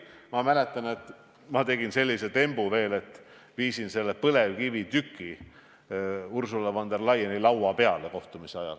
Ma mäletan, et tegin veel sellise tembu, et viisin kohtumise ajal põlevkivitüki Ursula von der Leyeni laua peale.